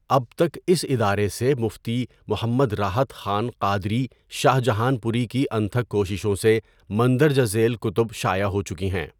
اب تک اس ادارے سے مفتی محمد راحت خان قادری شاہجہان پوری کی انتهک کوششوں سے مندرجہ ذیل کتب شائع ہو چکی ہیں۔